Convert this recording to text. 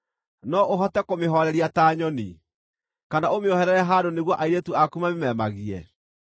No ũhote kũmĩhooreria ta nyoni, kana ũmĩoherere handũ nĩguo airĩtu aku mamĩmeemagie?